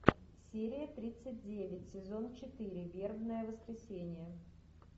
серия тридцать девять сезон четыре вербное воскресенье